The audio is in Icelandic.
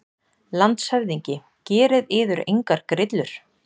LANDSHÖFÐINGI: Gerið yður engar grillur.